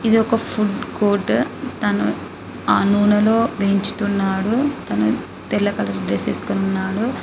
ఇది ఒక food court తాను ఆ నూనెలో వేయించుతున్నాడు తాను తెల్ల కలర్ డ్రెస్ వేసుకొని ఉన్నాడు.